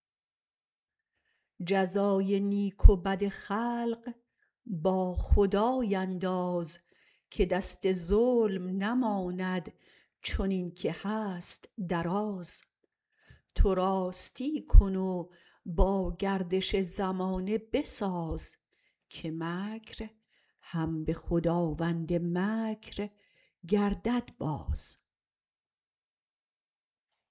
جزای نیک و بد خلق با خدای انداز که دست ظلم نماند چنین که هست دراز تو راستی کن و با گردش زمانه بساز که مکر هم به خداوند مکر گردد باز